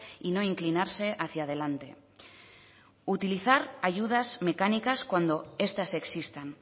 y no inclinarse hacia adelante utilizar ayudas mecánicas cuando estas existan